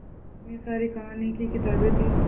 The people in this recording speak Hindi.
इतनी सारी कहानी की किताबें थीं